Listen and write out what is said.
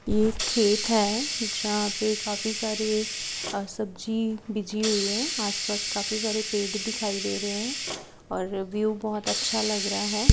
ये खेत है जहां पे काफी सारी अ सब्जी बीजी हुई है आसपास काफी सारे पेड़ दिखाई दे रहे हैं और व्युव बहुत अच्छा लग रहा है।